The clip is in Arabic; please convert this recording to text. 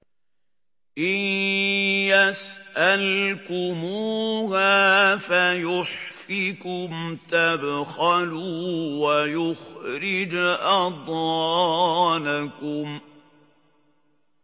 إِن يَسْأَلْكُمُوهَا فَيُحْفِكُمْ تَبْخَلُوا وَيُخْرِجْ أَضْغَانَكُمْ